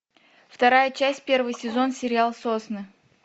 вторая часть первый сезон сериал сосны